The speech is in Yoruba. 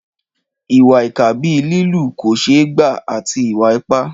Ìwà ìkà bíi lílù kò ṣeé gbà àti ìwà ipá.